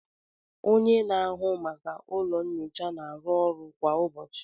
onye na-ahụ maka ụlọ nyocha na-arụ ọrụ kwa ụbọchị